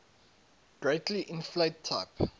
greatly inflate type